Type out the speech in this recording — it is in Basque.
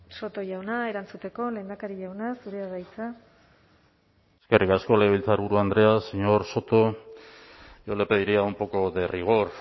soto jauna erantzuteko lehendakari jauna zurea da hitza eskerrik asko legebiltzarburu andrea señor soto yo le pediría un poco de rigor